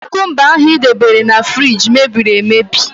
Kúkúmba ahụ i debere na fruidge mebiri emebi.